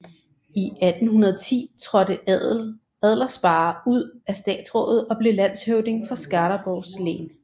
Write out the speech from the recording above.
I 1810 trådte Adlersparre ud af statsrådet og blev landshövding for Skaraborgs län